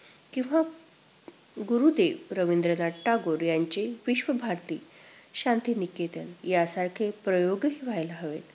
किंवा गुरुदेव रवींद्रनाथ टागोर यांची विश्वभारती, शांतिनिकेतन यांसारखे प्रयोग व्हायला हवे.